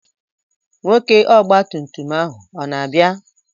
Nwoke ọgba tum tum ahụ o na-abịa?